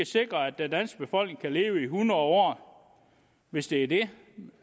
sikre at den danske befolkning kan leve i hundrede år hvis det er det